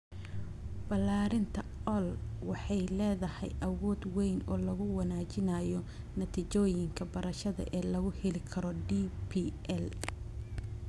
Ballaarinta AI waxay leedahay awood weyn oo lagu wanaajinayo natiijooyinka barashada ee laga heli karo DPL.